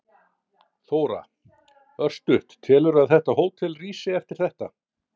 Þóra: Örstutt, telurðu að þetta hótel rísi eftir þetta?